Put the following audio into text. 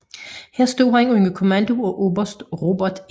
Her stod han under kommando af oberst Robert E